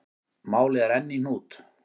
Málið er enn í hnút.